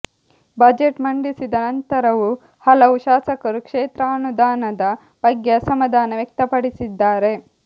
budget ಮಂಡಿಸಿದ ನಂತರವು ಹಲವು ಶಾಸಕರು ಕ್ಷೇತ್ರಾನುದಾನದ ಬಗ್ಗೆ ಅಸಮಾಧಾನ ವ್ಯಕ್ತಪಡಿಸಿದ್ದಾರೆ